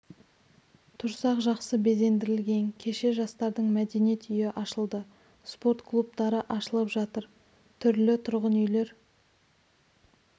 тұрсақ жақсы безендірілген кеше жастардың мәдениет үйі ашылды спорт клубтары ашылып жатыр түрлі тұрғын үйлер